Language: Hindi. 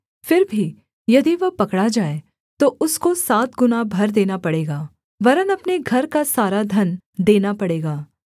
फिर भी यदि वह पकड़ा जाए तो उसको सात गुणा भर देना पड़ेगा वरन् अपने घर का सारा धन देना पड़ेगा